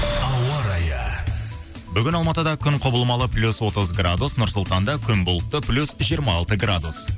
ауа райы бүгін алматыда күн құбылмалы плюс отыз градус нұр сұлтанда күн бұлтты плюс жиырма алты градус